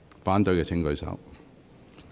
反對的請舉手。